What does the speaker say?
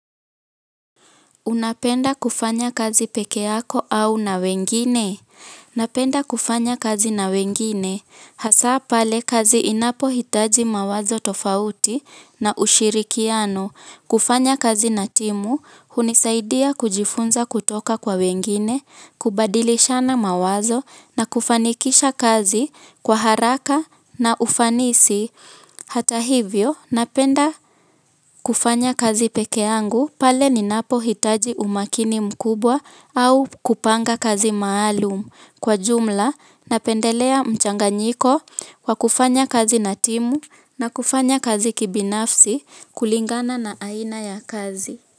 Unapenda kufanya kazi pekee yako au na wengine? Napenda kufanya kazi na wengine. Hasa pale kazi inapohitaji mawazo tofauti na ushirikiano. Kufanya kazi na timu, hunisaidia kujifunza kutoka kwa wengine, kubadilishana mawazo na kufanikisha kazi kwa haraka na ufanisi. Hata hivyo, napenda kufanya kazi pekee yangu, pale ninapo hitaji umakini mkubwa au kupanga kazi maalum. Kwa jumla, napendelea mchanganyiko, wa kufanya kazi na timu, na kufanya kazi kibinafsi, kulingana na aina ya kazi.